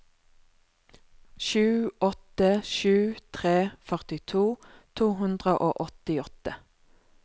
sju åtte sju tre førtito to hundre og åttiåtte